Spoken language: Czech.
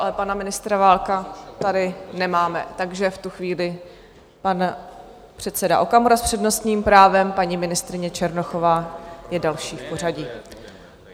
Ale pana ministra Válka tady nemáme, takže v tu chvíli pan předseda Okamura s přednostním právem, paní ministryně Černochová je další v pořadí.